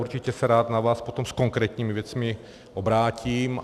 Určitě se rád na vás potom s konkrétními věcmi obrátím.